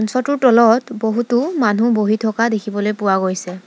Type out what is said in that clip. মঞ্চৰটোৰ তলত বহুতো মানুহ বহি থকা দেখিবলৈ পোৱা গৈছে।